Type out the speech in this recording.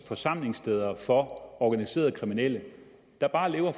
forsamlingssteder for organiserede kriminelle der bare lever